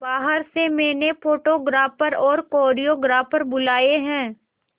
बाहर से मैंने फोटोग्राफर और कोरियोग्राफर बुलाये है